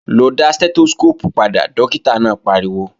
Lọ dá Stẹ́tóskóópù padà, dókítà náà pariwo!